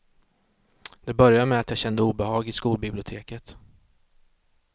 Det började med att jag kände obehag i skolbiblioteket.